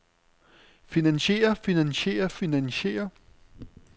finansiere finansiere finansiere